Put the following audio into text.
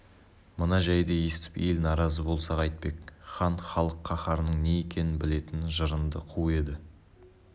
мына жайды естіп ел наразы болса қайтпек хан халық қаһарының не екенін білетін жырынды қу еді